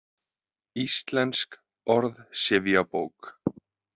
Íslensk orðsifjabók.